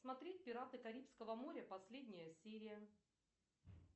смотреть пираты карибского моря последняя серия